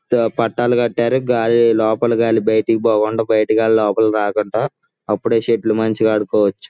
తో పట్టాలు కట్టారు. గాలి లోపల గాలి బయటకు పోకుండా బయట గని లోపలకు రాకుండా అపుడే సెటిల్ మంచిగా ఆడొచ్చు.